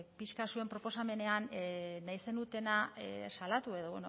pixka bat zuen proposamenean nahi zenutena salatu edo